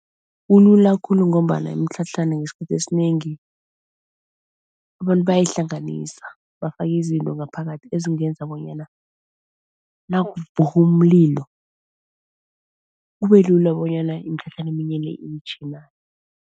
Kulula khulu ngombana imitlhatlhana ngesikhathi esinengi abantu bayayihlanganisa bafake izinto ngaphakathi ezingenza bonyana nakuvuka umlilo kube lula bonyana imitlhatlhana eminye le